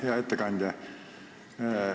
Hea ettekandja!